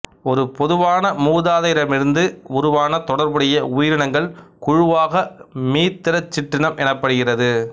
ஒரு பொதுவான மூதாதையரிடமிருந்து உருவான தொடர்புடைய உயிரினங்கள் குழுவாக மீத்திறச் சிற்றினம் எனப்படுகிறது